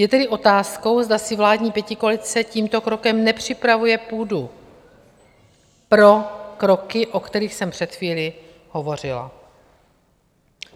Je tedy otázkou, zda si vládní pětikoalice tímto krokem nepřipravuje půdu pro kroky, o kterých jsem před chvílí hovořila.